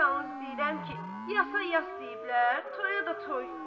Yalnız deyirəm ki, yasa yas deyiblər, toya da toy.